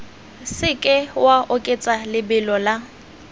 seke wa oketsa lebelo la